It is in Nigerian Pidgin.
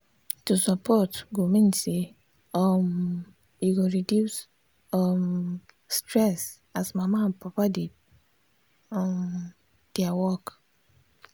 to support go mean say um e go reduce um stress as mama and papa dey do um their work.